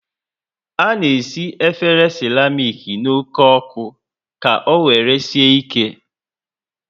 Ana esi efere seramic n' oke oku ka owere sie ike